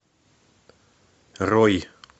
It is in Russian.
рой